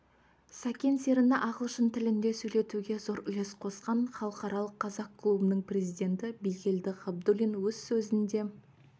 сәкен серіні ағылшын тілінде сөйлетуге зор үлес қосқан халықаралық қазақ клубының президенті бигелді ғабдуллин өз сөзінде